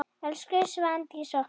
Elsku Svandís okkar.